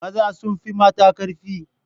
Maza sun fi mata karfi.